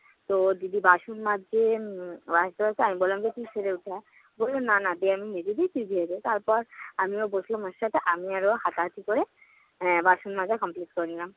তো দিদি বাসন মাজছে। উম আমি বললাম যে তুই সরে উঠে আয়। বলল না না দে আমি মেজে দেই তুই ধুয়ে দে। তারপর আমিও বসলাম ওর সাথে। আমি আর ও হাতাহাতি করে আহ বাসন মাজা complete করে নিলাম।